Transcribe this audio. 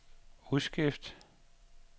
udskrift